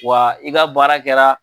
Wa i ka baara kɛra.